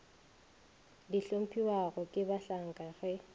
di hlomphiwago ke bahlanka ge